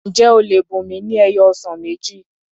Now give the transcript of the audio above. Ǹjẹ́ o lè bùnmi ni ẹyọ ọsàn méjì?